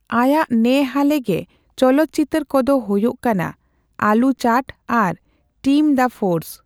ᱟᱭᱟᱜ ᱱᱮ ᱦᱟᱞᱮ ᱜᱮ ᱪᱚᱞᱚᱛ ᱪᱤᱛᱟᱹᱨ ᱠᱚᱫᱚ ᱦᱳᱭᱳᱜ ᱠᱟᱱᱟ ᱟᱞᱩ ᱪᱟᱴ ᱟᱨ ᱴᱤᱢᱺ ᱫᱟ ᱯᱷᱳᱨᱥ ᱾